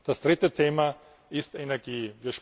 Das dritte Thema ist Energie.